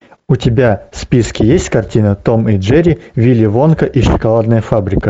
у тебя в списке есть картина том и джерри вилли вонка и шоколадная фабрика